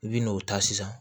I bi n'o ta sisan